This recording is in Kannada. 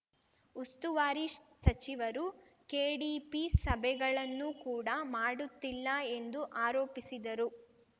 ಉಸ್ತುವಾರಿ ಸಚಿವರು ಕೆಡಿಪಿ ಸಭೆಗಳನ್ನು ಕೂಡಾ ಮಾಡುತ್ತಿಲ್ಲ ಎಂದು ಆರೋಪಿಸಿದರು